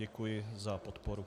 Děkuji za podporu.